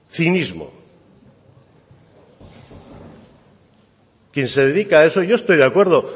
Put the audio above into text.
yo estoy de acuerdo